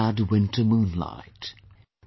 The sad winter moonlight,